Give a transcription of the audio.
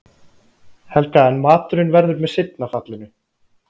Helga en maturinn verður með seinna fallinu.